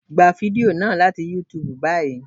Gba fídíò náà láti YouTube báyìí!